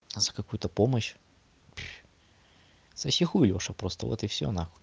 а за какую-то помощь соси хуй лёша просто вот и всё на хуй